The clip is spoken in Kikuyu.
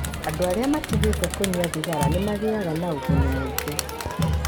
Andũ arĩa matigĩte kũnyua thigara nĩ magĩaga na ũguni mũingĩ.